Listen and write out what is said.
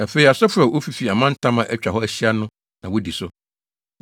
Afei, asɔfo a wofifi amantam a atwa hɔ ahyia na wodi so.